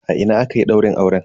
A ina akayi daurin auren?